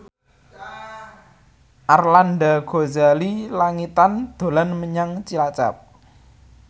Arlanda Ghazali Langitan dolan menyang Cilacap